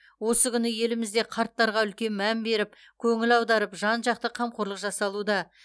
осы күні елімізде қарттарға үлкен мән беріп көңіл аударып жан жақты қамқорлық жасалуда